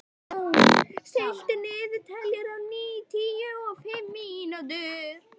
Salome, stilltu niðurteljara á níutíu og fimm mínútur.